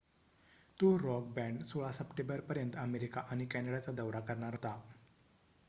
तो rock band 16 सप्टेंबरपर्यंत America आणि कॅनडाचा दौरा करणार होता